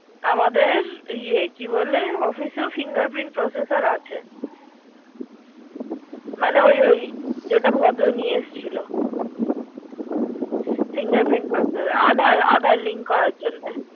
আমাদের ইয়ে কি বলে অফিসে finger print processor আছে। মানে ওই ওই যেটা ভদ্র নিয়ে এসছিল। finger print processor আবার আবার link করা জেন্যে।